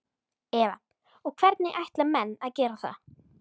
Eva: Og hvernig ætla menn að gera það?